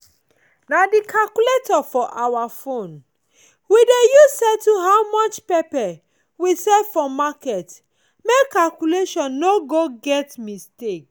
na the calculator for our phone we dey use settle how much pepper we sell for market make calculation no go get mistake.